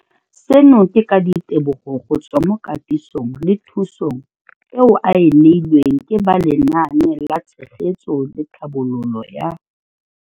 Seno ke ka ditebogo go tswa mo katisong le thu song eo a e neilweng ke ba Lenaane la Tshegetso le Tlhabololo ya.